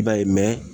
I b'a ye